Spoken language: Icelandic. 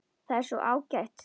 Það er svo ágætt.